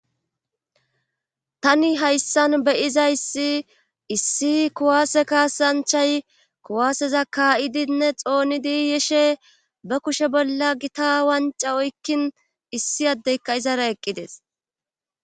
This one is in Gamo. Tani hayssan beyiza issi issi kuwaase kaasanchay kuwaaseza kaa7idinne xoonidiyeshe ba kushe bolla gita wanca oykkin issi addeyka izara eqqides.